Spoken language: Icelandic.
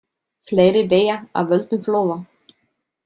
Fleiri deyja af völdum flóða.